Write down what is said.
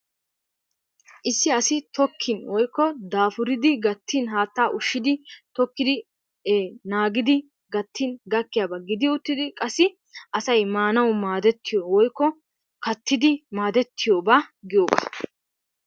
Issi asi tokkin woykko daapuridi gattin haattaa ushshiidi tokkidi e naagidi gaattin gakkiyaaba giidi uttidi qassi asay maanawu maadiyaa woykko kaattidi maaddetiyoogaa giyoogaa.